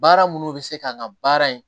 Baara minnu bɛ se ka nga baara in